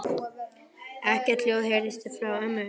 Ekkert hljóð heyrðist frá ömmu eða Gamla.